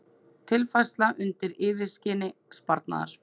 Tilfærsla undir yfirskini sparnaðar